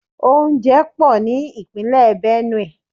Oúnjẹ pò ní Ìpínlẹ̀ Benue.